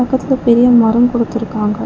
பக்கத்துல பெரிய மரோ கொடுத்து இருக்காங்க.